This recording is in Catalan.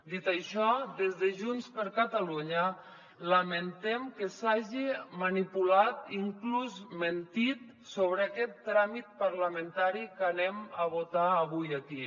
dit això des de junts per catalunya lamentem que s’hagi manipulat i inclús mentit sobre aquest tràmit parlamentari que anem a votar avui aquí